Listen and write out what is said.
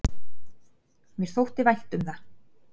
Mér þótti vænt um það.